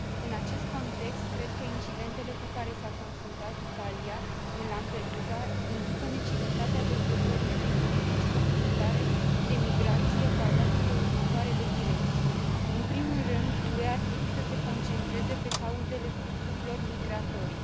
În acest context, cred că incidentele cu care s a confruntat Italia în Lampedusa indică necesitatea dezvoltării unei politici comunitare de migrație axată pe următoarele direcții În primul rând, UE ar trebuie să se concentreze pe cauzele fluxurilor migratorii.